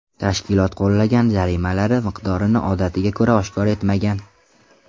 Tashkilot qo‘llagan jarimalari miqdorini odatiga ko‘ra oshkor etmagan.